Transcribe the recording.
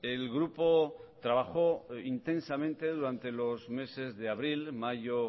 el grupo trabajó intensamente durante los meses de abril mayo